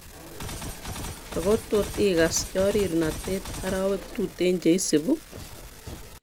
Ako tot ikas choririnatet arawek tuteen cheisibu